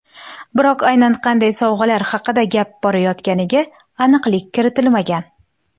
Biroq aynan qanday sovg‘alar haqida gap borayotganiga aniqlik kiritilmagan.